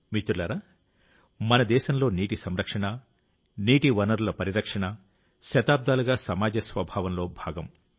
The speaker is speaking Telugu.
మిత్రులారా మన దేశంలో నీటి సంరక్షణ నీటి వనరుల పరిరక్షణ శతాబ్దాలుగా సమాజ స్వభావంలో భాగం